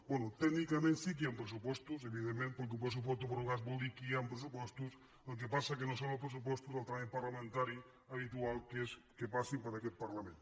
bé tècnicament sí que hi han pressupostos evidentment perquè pressupostos prorrogats vol dir que hi han pressupostos el que passa és que no són els pressupostos del tràmit parlamentari habitual que és que passin per aquest parlament